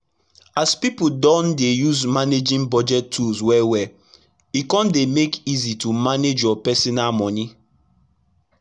as pipu don dey use managing budgeting tools well well e kon dey make easy to manage your personal moni